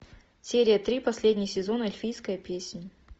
серия три последний сезон эльфийская песнь